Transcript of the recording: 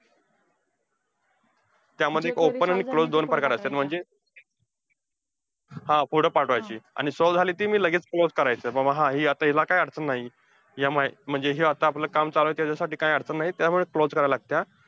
त्यामध्ये open आणि closed दोन प्रकार असत्यात. म्हणजे हा पुढं पाठवायची आणि solve झाली, ती मी लगेच close करायची. बाबा हा हि आता हिला काय अडचण नाही, या अह म्हणजे आता हे आपलं काम चालूये, त्याच्यासाठी काय अडचण नाही. त्यामुळे closed करायला लागतीया.